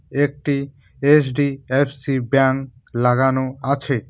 একটি এইচ_ডি_এফ_সি ব্যাঙ্ক লাগানো আছে।